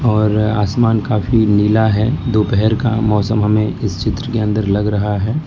और आसमान काफी नीला है दोपहर का मौसम हमें इस चित्र के अंदर लग रहा है।